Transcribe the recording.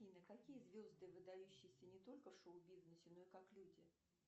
афина какие звезды выдающиеся не только в шоу бизнесе но и как люди